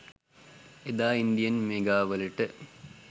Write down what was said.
එදා ඉන්දියන් මෙගාවලට